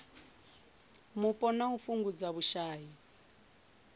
mupo na u fhungudza vhushai